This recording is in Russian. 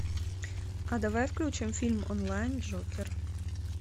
а давай включим фильм онлайн джокер